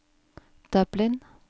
Dublin